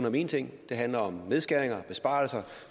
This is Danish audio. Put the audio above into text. om en ting det handler om nedskæringer og besparelser